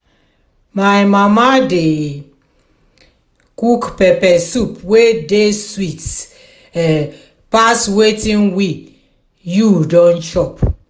my mama dey um cook pepper soup wey dey sweet um pass wetin we you don chop.